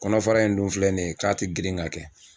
Kɔnɔfara in dun filɛ nin ye k'a ti girin ka kɛ